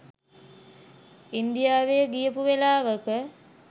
ඉන්දියාවෙ ගියපු වෙලාවක.